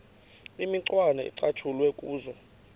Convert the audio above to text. imicwana ecatshulwe kuzo